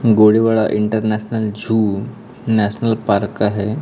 Gorewada international zoo national park का है।